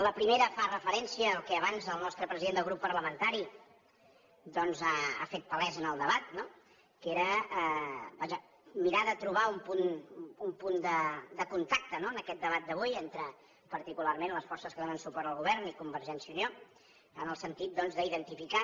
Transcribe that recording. la primera fa referència al que abans el nostre president del grup parlamentari doncs ha fet palès en el debat que era vaja mirar de trobar un punt de contacte en aquest debat d’avui entre particularment les forces que donen suport al govern i convergència i unió en el sentit d’identificar